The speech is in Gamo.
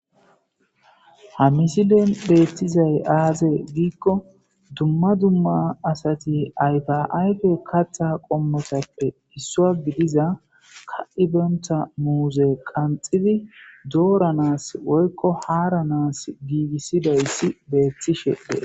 Ha missileza bolla bettizayiss aze gizayissa gidikko dumma dumma asati ayifa ayife kaththa qomotappe isso gidida kaxibena muzze doranass canshshe dizayissa besses